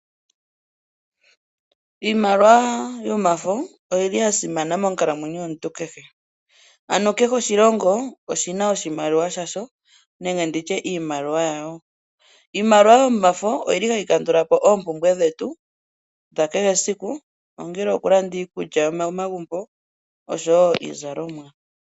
Iimaliwa yomafo oyili ya simana monkalamwenyo yomuntu kehe. Ano kehe oshilongo oshina oshimaliwa shasho nenge nditye iimaliwa yayo. Iimaliwa yomafo oyili hayi kandula po oompumbwe dhetu dha kehe esiku, ongele oku landa iikulya momagumbo oshowo iizalomwa.